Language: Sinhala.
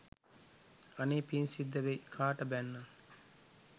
අනේ පින් සිද්ද වෙයි කාට බැන්නත්